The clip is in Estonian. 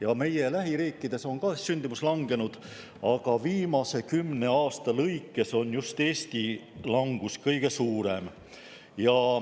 Ka meie lähiriikides on sündimus langenud, aga viimase kümne aasta lõikes on just Eesti langus olnud kõige suurem.